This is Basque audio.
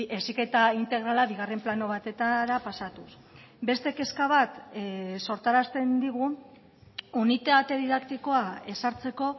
heziketa integrala bigarren plano batetara pasatuz beste kezka bat sortarazten digu unitate didaktikoa ezartzeko